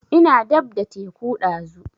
Ina dab da teku ɗazu